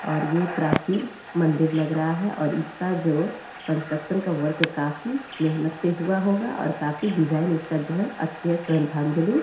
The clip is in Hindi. और ये प्राचीन मंदिर लग रहा है और इसका जो कंस्ट्रक्शन का वर्क काफ़ी मेहनत पे हुआ होगा और काफ़ी डिजाईन इसका जो है अच्छे --